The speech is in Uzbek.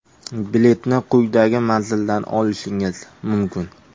Biletni quyidagi manzildan olishingiz mumkin!